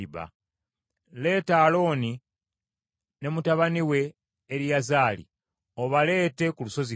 Leeta Alooni ne mutabani we Eriyazaali, obaleete ku lusozi Koola;